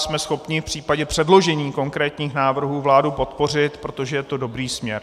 Jsme schopni v případě předložení konkrétních návrhů vládu podpořit, protože je to dobrý směr.